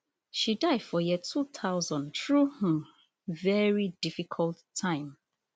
she die for year two thousand through um veri difficult time